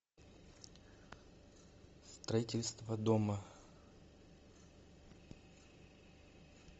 строительство дома